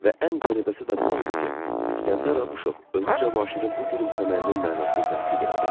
Və ən qəribəsi də bu oldu ki, İsgəndər Abuşov özü Cavanşirin bu gülümsəməyinin mənasını təsdiq elədi.